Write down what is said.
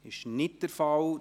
– Dies ist nicht der Fall.